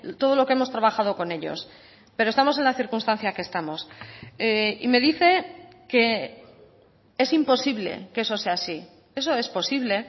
todo lo que hemos trabajado con ellos pero estamos en la circunstancia que estamos y me dice que es imposible que eso sea así eso es posible